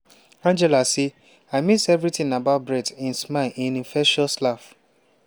angela say "i miss evritin about brett im smile im infectious laugh."